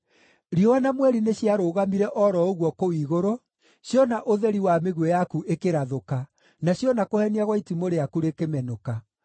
Riũa na mweri nĩciarũgamire o ro ũguo kũu igũrũ, ciona ũtheri wa mĩguĩ yaku ĩkĩrathũka, na ciona kũhenia gwa itimũ rĩaku rĩkĩmenũka.